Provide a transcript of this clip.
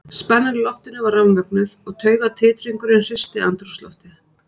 Spennan í loftinu var rafmögnuð og taugatitringurinn hristi andrúmsloftið.